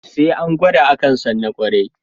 Sai an gwada akan san na ƙwarai